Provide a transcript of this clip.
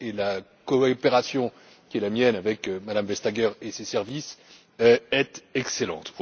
La coopération qui est la mienne avec Mme Vestager et ses services est excellente.